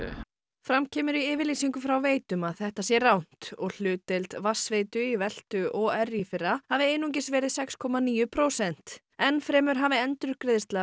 fram kemur í yfirlýsingu frá Veitum að þetta sé rangt og hlutdeild vatnsveitu í veltu OR í fyrra hafi einungis verið sex komma níu prósent enn fremur hafi endurgreiðsla